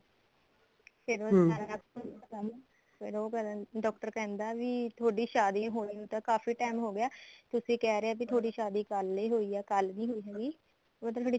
ਫੇਰ ਉਹ ਸਾਰਾ ਫੇਰ ਉਹ ਕਰਨ ਡਾਕਟਰ ਕਹਿੰਦਾ ਵੀ ਤੁਹਾਡੀ ਸ਼ਾਦੀ ਹੋਣੀ ਤਾਂ ਕਾਫੀ time ਹੋ ਗਿਆ ਤੁਸੀਂ ਕਹਿ ਰਹੇ ਓ ਤੁਹਾਡੀ ਸ਼ਾਦੀ ਕੱਲ ਈ ਹੋਈ ਐ ਕੱਲ ਨੀ ਹੋਈ ਹੁਣ ਤਾਂ ਤੁਹਾਡੀ